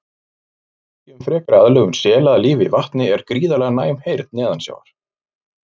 Merki um frekari aðlögun sela að lífi í vatni er gríðarlega næm heyrn neðansjávar.